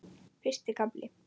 Fyrsti kafli